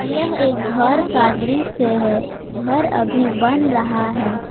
यह एक घर का दृश्य है घर अभी बन रहा है।